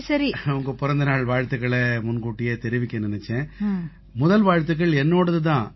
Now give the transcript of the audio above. உங்க பிறந்தநாள் நல்வாழ்த்துக்களை முன்கூட்டியே தெரிவிக்க நினைச்சேன் முதல் வாழ்த்துக்கள் என்னோடது தான்